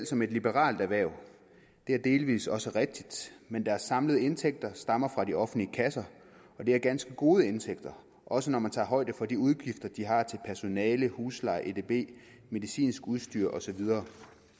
som et liberalt erhverv det er delvis også rigtigt men deres samlede indtægter stammer fra de offentlige kasser og det er ganske gode indtægter også når man tager højde for de udgifter de har til personale husleje edb medicinsk udstyr og så videre